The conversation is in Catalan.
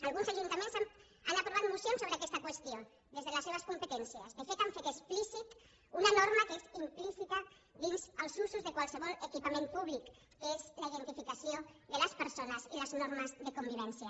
alguns ajuntaments han aprovat mocions sobre aquesta qüestió des de les seves competències de fet han fet explícita una norma que és implícita dins els usos de qualsevol equipament públic que és la identificació de les persones i les normes de convivència